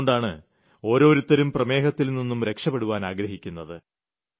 അതുകൊണ്ടാണ് ഓരോരുത്തരും പ്രമേഹത്തിൽനിന്നും രക്ഷപ്പെടാൻ ആഗ്രഹിക്കുന്നത്